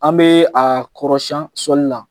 An bɛ a kɔrɔsiyɛn sɔli na.